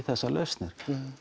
þessar lausnir